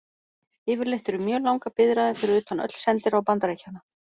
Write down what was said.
Yfirleitt eru mjög langar biðraðir fyrir utan öll sendiráð Bandaríkjanna.